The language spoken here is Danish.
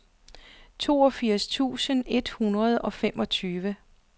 toogfirs tusind et hundrede og femogtyve